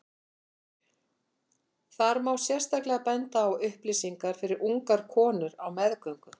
þar má sérstaklega benda á upplýsingar fyrir ungar konur á meðgöngu